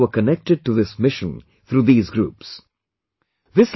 Hundreds of people were connected to this mission through these groups